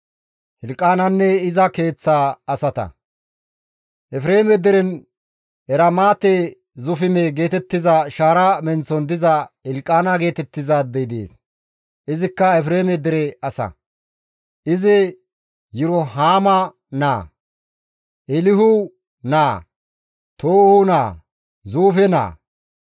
Efreeme deren Eramaate-Zufime geetettiza shaara menththon diza Hilqaana geetettizaadey dees; izikka Efreeme dere asa; izi Yirohaame naa, Eelihu naa, Toohu naa, Zuufe naa.